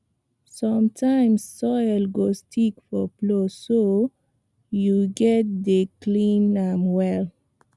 sometimes soil go stick for plow so you gatz dey clean am well